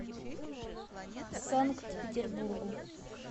санкт петербургу